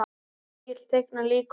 Egill teiknar líka og málar.